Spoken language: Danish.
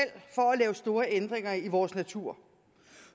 lave store ændringer i vores natur